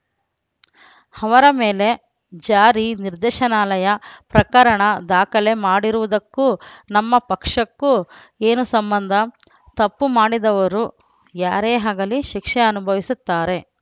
ಅವರ ಮೇಲೆ ಜಾರಿ ನಿರ್ದೇಶನಾಲಯ ಪ್ರಕರಣ ದಾಖಲೆ ಮಾಡಿರುವುದಕ್ಕೂ ನಮ್ಮ ಪಕ್ಷಕ್ಕೂ ಏನು ಸಂಬಂಧ ತಪ್ಪು ಮಾಡಿದವರು ಯಾರೇ ಆಗಲಿ ಶಿಕ್ಷೆ ಅನುಭವಿಸುತ್ತಾರೆ